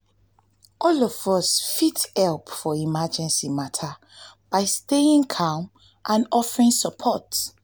all of us fit help for for emergency mata by staying calm and offering support.